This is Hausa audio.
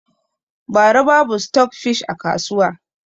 Bara babu stok fish a kasuwa